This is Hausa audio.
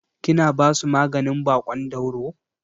Kina basu maganin baƙon dauro?